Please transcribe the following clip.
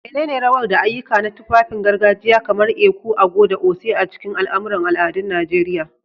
Menene rawar da ayyuka na tufafin gargajiya kamar ẹkú/agọ̀ da oṣé a cikin al'amuran al'adun Najeriya?